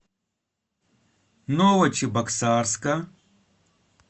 новочебоксарска